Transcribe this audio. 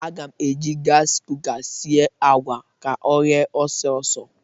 Aga m eji gasị kuka sie àgwà a ka o ghee ọsọ ọsọ.